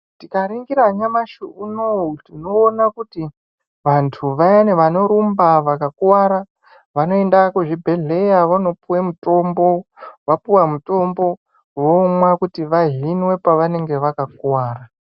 Tikaringira nyamushi unou tinoona kuti vanthu vayani vanorumba vakakuvara vanoenda kuzvibhedhleya vonopihwe mutombo, vapuwa mutombo kuti vahimwe pavanenge vakakuvara.